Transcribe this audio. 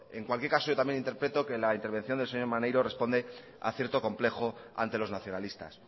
en cualquier caso yo también interpreto que la intervención del señor maneiro responde a cierto complejo ante los nacionalistas